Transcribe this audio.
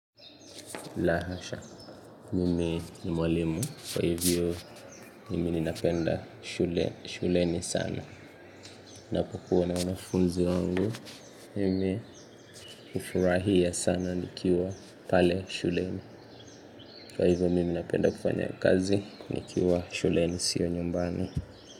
La hasha mimi ni mwalimu kwa hivyo mimi ninapenda shuleni sana na kukuwa na wanafunzi wangu mimi ufurahia sana nikiwa pale shuleni kwa hivyo mimi napenda kufanya kazi nikiwa shuleni sio nyumbani.